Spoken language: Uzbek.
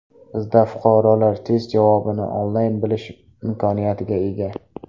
Bizda fuqarolar test javobini onlayn bilish imkoniyatiga ega.